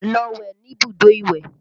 Lọ wẹ̀ níbùdó ìwẹ̀!